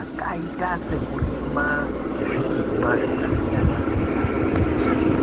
akaita sekurima zvirimwa zvakasiyana siyana